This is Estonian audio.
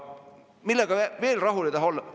Millega veel ei taha rahul olla?